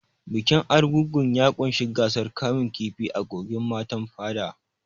Bikin Argungu ya ƙunshi gasar kamun kifi a kogin Matan Fada.